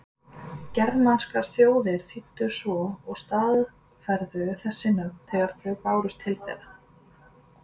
Germanskar þjóðir þýddu svo og staðfærðu þessi nöfn þegar þau bárust til þeirra.